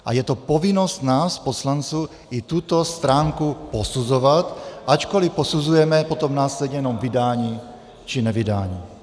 A je to povinnost nás poslanců i tuto stránku posuzovat, ačkoli posuzujeme potom následně jenom vydání či nevydání.